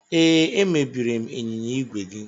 Ee, emebiri m ịnyịnya ígwè gị.